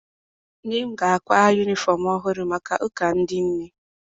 Nne m ga-akwa yunifọm ọhụrụ maka ụka ndị nne.